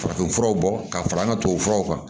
Farafinfuraw bɔ ka fara an ka tubabu furaw kan